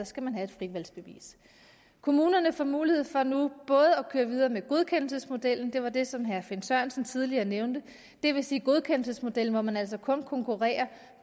skal man have et fritvalgsbevis kommunerne får mulighed for nu både at køre videre med godkendelsesmodellen det var det som herre finn sørensen tidligere nævnte det vil sige godkendelsesmodellen hvor man altså kun konkurrerer